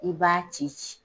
I b'a ci ci.